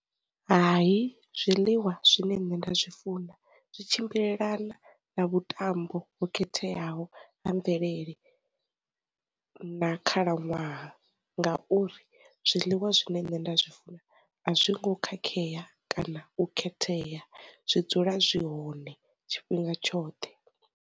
Hai zwiḽiwa zwine nṋe nda zwi funa zwi tshimbilelana na vhutambo ho khetheaho ha mvelele na khalaṅwaha, ngauri zwiḽiwa zwine nṋe nda zwi funa a zwi ngo khakheya kana u khetheya, zwi dzula zwi hone tshifhinga tshoṱhe.